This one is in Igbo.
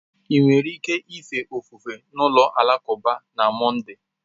Ị nwere ike ife ofufe n'ụlọ alakụba na Monday?